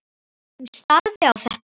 Hún starði á þetta.